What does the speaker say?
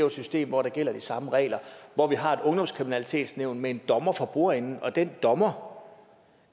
et system hvor der gælder de samme regler og hvor vi har et ungdomskriminalitetsnævn med en dommer for bordenden og den dommer